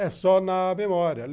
É só na memória.